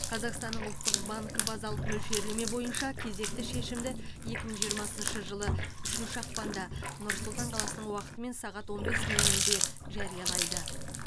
қазақстанның ұлттық банк базалық мөлшерлеме бойынша кезекті шешімді екі мың жиырмасыншы жылы үшінші ақпанда нұр сұлтан қаласының уақытымен сағат он бес нөл нөлде жариялайды